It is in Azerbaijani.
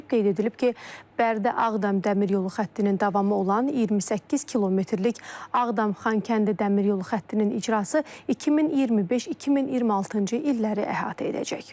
Qeyd edilib ki, Bərdə-Ağdam dəmir yolu xəttinin davamı olan 28 kilometrlik Ağdam-Xankəndi dəmir yolu xəttinin icrası 2025-2026-cı illəri əhatə edəcək.